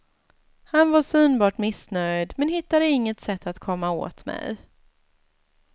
Han var synbart missnöjd, men hittade inget sätt att komma åt mig.